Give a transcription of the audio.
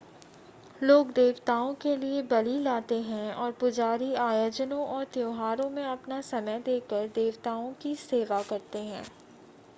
लोग देवताओं के लिए बलि लाते हैं और पुजारी आयोजनों और त्यौहारों में अपना समय देकर देवताओं की सेवा करते हैं